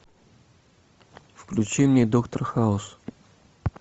включи мне доктор хаус